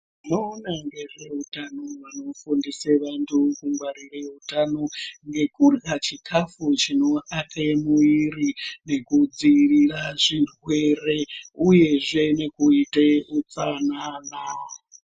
Vanoona ngezveutano vanofundisa vantu kungwarira utano ngekurya chikafu chinoaka muviri nekudzivirira zvirwere uyezve kuita utsanana.